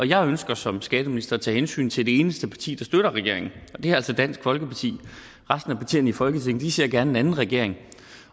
jeg ønsker som skatteminister at tage hensyn til det eneste parti der støtter regeringen og det er altså dansk folkeparti resten af partierne i folketinget ser gerne en anden regering